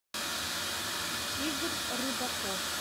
игорь рыбаков